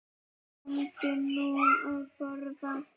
Komdu nú að borða